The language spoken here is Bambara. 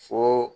Fo